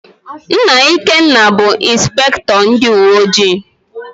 Nna Ikenna bụ Ịnspektọ ndịuweojii.